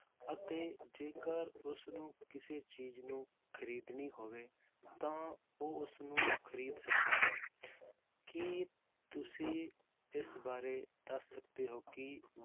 ਅਤੇ ਜੇਕਰ ਉਸਨੂੰ ਕਿਸੇ ਚੀਜ਼ ਨੂੰ ਖ਼ਰੀਦਣੀ ਹੋਵੇ ਤਾਂ ਉਹ ਉਸਨੂੰ ਖ਼ਰੀਦ ਸਕਦਾ ਹੈ ਕੀ ਤੁਸੀਂ ਇਸ ਬਾਰੇ ਦੱਸ ਸਕਦੇ ਹੋ ਕਿ